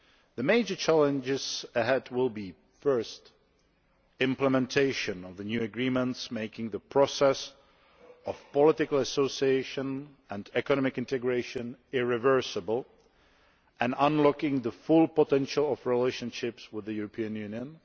The major challenges ahead will be, first, implementation of the new agreements, making the process of political association and economic integration irreversible and unlocking the full potential of relationships with the European Union